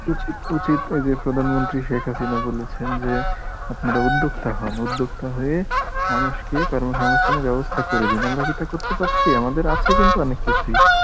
উচিত উচিত এই যে প্রধানমন্ত্রী শেখ হাসিনা বলেছেন যে, আপনারা উদ্যোক্তা হন উদ্যোক্তা হয়ে, মানুষকে কর্মসংস্থানের ব্যবস্থা করে দিন, আমরা কি তা করতে পারছি আমাদের আছে কিন্তু অনেক কিছুই